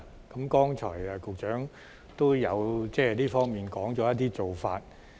局長剛才也提到這方面的一些做法。